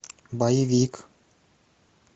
боевик